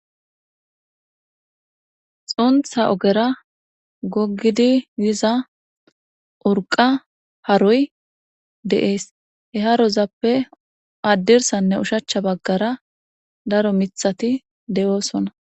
Xuntha ogera gogidi diza urqa haroy de'ee he harozappe addirsanne ushachcha baggara daro mithati de'oosona.